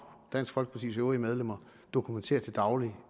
dansk folkepartis øvrige medlemmer dokumenterer til daglig